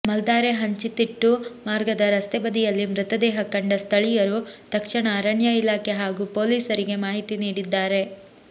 ಮಾಲ್ದಾರೆ ಹಂಚಿತಿಟ್ಟು ಮಾರ್ಗದ ರಸ್ತೆ ಬದಿಯಲ್ಲಿ ಮೃತದೇಹ ಕಂಡ ಸ್ಥಳೀಯರು ತಕ್ಷಣ ಅರಣ್ಯ ಇಲಾಖೆ ಹಾಗೂ ಪೊಲೀಸರಿಗೆ ಮಾಹಿತಿ ನೀಡಿದ್ದಾರೆ